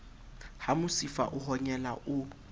ha mosifa o honyela o